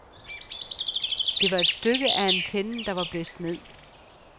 Det var et stykke af antennen, der var blæst ned.